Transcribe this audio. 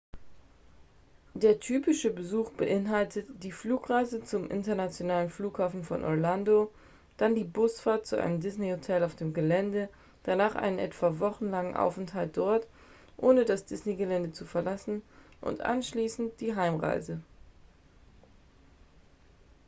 der ‍‌‍typische” besuch beinhaltet die flugreise zum internationalen flughafen von orlando dann die busfahrt zu einem disney-hotel auf dem gelände danach einen etwa wochenlangen aufenthalt dort ohne das disney-gelände zu verlassen und anschließend die heimreise